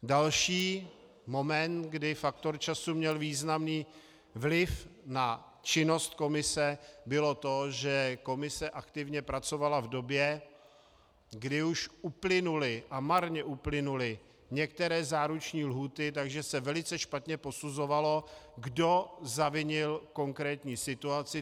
Další moment, kdy faktor času měl významný vliv na činnost komise, bylo to, že komise aktivně pracovala v době, kdy už uplynuly, a marně uplynuly, některé záruční lhůty, takže se velice špatně posuzovalo, kdo zavinil konkrétní situaci.